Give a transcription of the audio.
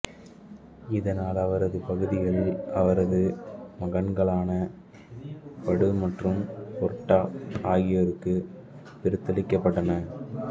இதனால் அவரது பகுதிகள் அவரது மகன்களான படு மற்றும் ஓர்டா ஆகியோருக்கு பிரித்தளிக்கப்பட்டன